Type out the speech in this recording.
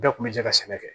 Bɛɛ kun bɛ jɛ ka sɛnɛ kɛ